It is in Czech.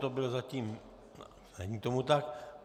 To byl zatím... není tomu tak.